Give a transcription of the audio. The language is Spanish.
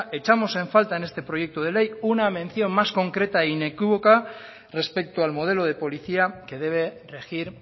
echamos en falta en este proyecto de ley una mención más concreta e inequívoca respecto al modelo de policía que debe regir